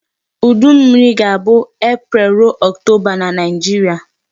Udu mmiri ga-abụ April rụo October na Nigeria.